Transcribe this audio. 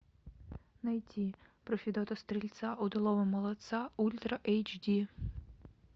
найти про федота стрельца удалого молодца ультра эйч ди